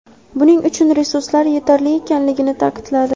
Buning uchun resurslar yetarli ekanligini ta’kidladi.